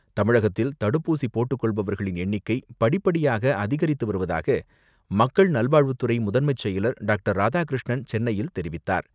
தமிழகத்தில் தடுப்பூசி போட்டுக் கொள்பவர்களின் எண்ணிக்கை படிபடியாக அதிகரித்து வருவதாக மக்கள் நல்வாழ்வுத் துறை முதன்மைச்செயலர் டாக்டர் ராதாகிருஷ்ணன் சென்னையில் தெரிவித்தார்.